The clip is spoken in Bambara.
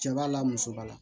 Cɛ b'a la musoba